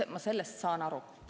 Ma sellest saan aru.